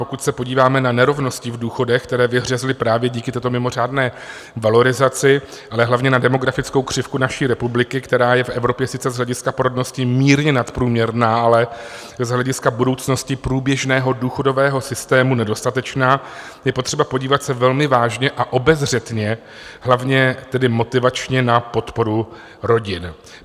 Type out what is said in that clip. Pokud se podíváme na nerovnosti v důchodech, které vyhřezly právě díky této mimořádné valorizaci, ale hlavně na demografickou křivku naší republiky, která je v Evropě sice z hlediska porodnosti mírně nadprůměrná, ale z hlediska budoucnosti průběžného důchodového systému nedostatečná, je potřeba podívat se velmi vážně a obezřetně, hlavně tedy motivačně, na podporu rodin.